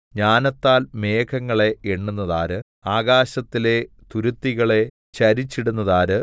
ജ്ഞാനത്താൽ മേഘങ്ങളെ എണ്ണുന്നതാര് ആകാശത്തിലെ തുരുത്തികളെ ചരിച്ചിടുന്നതാര്